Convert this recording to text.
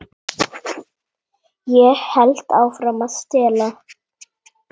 Ég hélt áfram að stela.